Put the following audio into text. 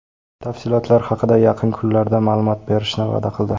Tafsilotlar haqida yaqin kunlarda ma’lumot berishni va’da qildi.